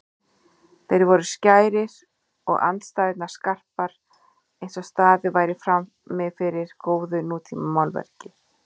Þeir voru skærir og andstæðurnar skarpar einsog staðið væri frammifyrir góðu nútímamálverki.